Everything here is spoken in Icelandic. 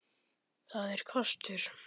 Það er kostur.